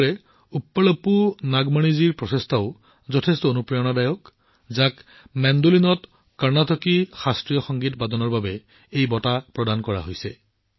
একেদৰে ভগ্নী উপ্পলপু নাগমণিজীৰ প্ৰচেষ্টাও যথেষ্ট অনুপ্ৰেৰণাদায়ক যাক মেণ্ডোলিনত কৰ্ণাটিক ইনষ্ট্ৰুমেণ্টেল শ্ৰেণীত পুৰস্কৃত কৰা হৈছে